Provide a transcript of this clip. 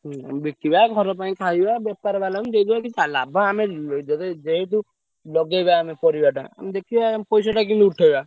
ହୁଁ ବିକିବା ଘର ପାଇଁ ଖାଇବା ବେପାର ବାଲାଙ୍କୁ ଦେଇଦବା କିଛି ଆଉ ଲାଭ ଆମେ ଯଦି ଏଇ ଯୋଉ ଲଗେଇବା ଆମେ ପରିବାଟା ଆମେ ଦେଖିବା ପଇସାଟା କେମିତି ଉଠେଇବା।